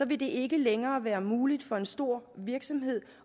vil det ikke længere være muligt for en stor virksomhed